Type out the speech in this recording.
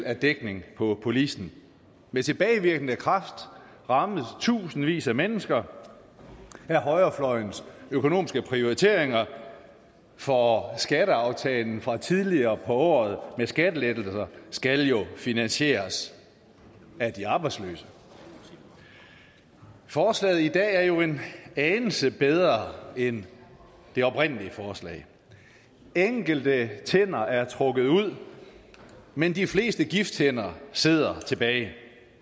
er dækning på policen med tilbagevirkende kraft rammes tusindvis af mennesker af højrefløjens økonomiske prioriteringer for skatteaftalen fra tidligere på året med skattelettelser skal jo finansieres af de arbejdsløse forslaget i dag er jo en anelse bedre end det oprindelige forslag enkelte tænder er trukket ud men de fleste gifttænder sidder tilbage